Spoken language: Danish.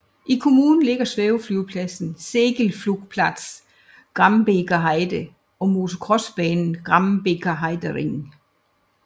I kommunen ligger svæveflyvepladsen Segelflugplatz Grambeker Heide og motocrossbanen Grambeker Heidering